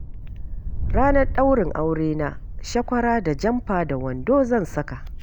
Ranar daurin aurena shakwara da jamfa da wando zan saka.